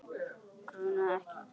Grunaði ekki Gvend.